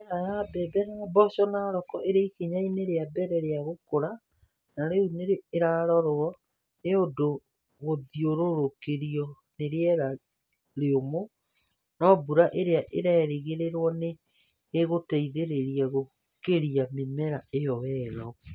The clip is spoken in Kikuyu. Mĩmera ya mbembe na mboco, Narok ĩrĩ ikinya-inĩ rĩa mbere rĩa gũkũra na rĩu nĩ ĩrarorwo nĩ ũdũ gũthiũrũrũkĩrio nĩ rĩera rĩũmũ, no mbura iria irerĩgĩrĩrũo nĩ igũteithĩrĩria gũkũria mĩmera ĩyo wega.